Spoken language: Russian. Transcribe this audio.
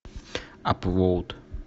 абвоут